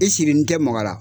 I siri n tɛ maga la